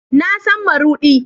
Na san marudi